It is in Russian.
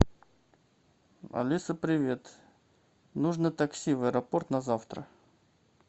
алиса привет нужно такси в аэропорт на завтра